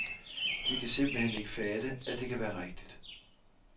De kan simpelt hen ikke fatte, at det kan være rigtigt.